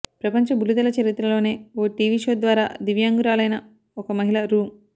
ప్రపంచ బుల్లితెర చరిత్రలోనే ఓ టీవీ షో ద్వారా దివ్యాంగురాలైన ఒక మహిళ రూ